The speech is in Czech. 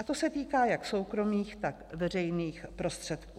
A to se týká jak soukromých, tak veřejných prostředků.